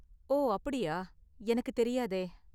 ஓ, அப்படியா? எனக்கு தெரியாதே!